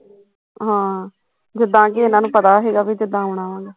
ਹਾਂ, ਜਿੱਦਾ ਕੀ ਇਹਨਾਂ ਨੂੰ ਪਤਾ ਸੀਗਾ ਵੀ ਕਦ ਆਉਣਾ ਵਾ ਗਾ